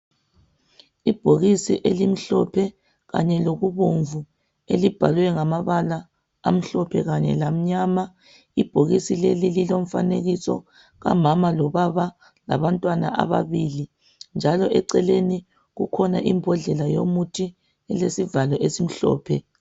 Ibhokisi elimhlophe kanye lokubomvu elibhalwe ngamabala amhlophe kanye lamnyama ibhokisi leli lilomfanekiso kamama lobaba labantwana ababili njalo eceleni kukhona imbodlela yomuthi elesivalo esimhlophe.